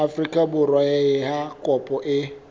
afrika borwa ha kopo e